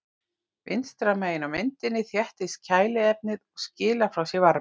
Vinstra megin á myndinni þéttist kæliefnið og skilar frá sér varma.